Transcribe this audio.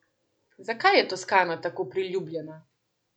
Zakaj je Toskana tako priljubljena?